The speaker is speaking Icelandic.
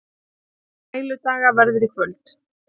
Hápunktur Sæludaga verður í kvöld